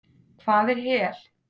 Hvað er hel?